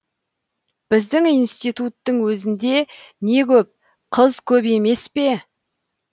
біздің институттың өзінде не көп қыз көп емес пе